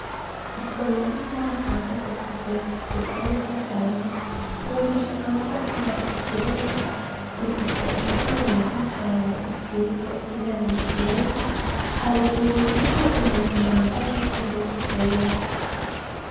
Isomero ry'umwaka wagatatu B ryubakishijwe amatafari aturiye, rifise umuryango mwiza cane, usizwe n'irangi ryera, haruguru hariho umuntu yambaye impuzu zera.